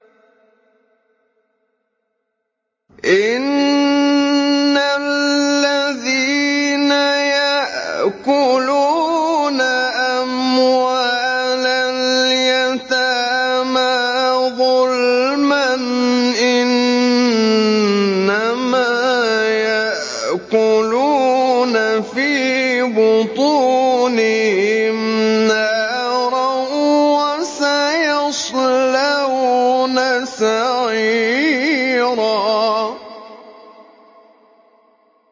إِنَّ الَّذِينَ يَأْكُلُونَ أَمْوَالَ الْيَتَامَىٰ ظُلْمًا إِنَّمَا يَأْكُلُونَ فِي بُطُونِهِمْ نَارًا ۖ وَسَيَصْلَوْنَ سَعِيرًا